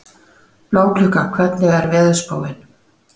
Bláklukka, hvernig er veðurspáin?